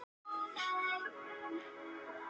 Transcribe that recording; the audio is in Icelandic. Skjalasafn Þýska alþýðulýðveldisins